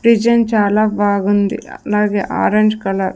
design చాలా బాగుంది అలాగే ఆరెంజ్ కలర్ --